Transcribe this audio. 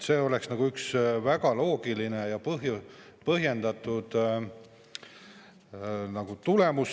See oleks väga loogiline ja põhjendatud tulemus.